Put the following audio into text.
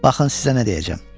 Baxın sizə nə deyəcəm.